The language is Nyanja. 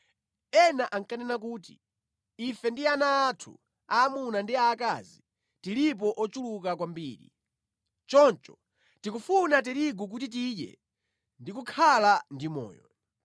Ena ankanena kuti, “Ife ndi ana athu aamuna ndi aakazi, tilipo ochuluka kwambiri. Choncho tikufuna tirigu kuti tidye ndi kukhala ndi moyo.”